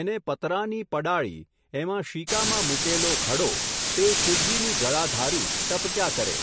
એને પતરાંની પડાળી, એમાં શીકામાં મૂકેલો ઘડો, તે શિવજીની જળાધારી, ટપક્યા કરે.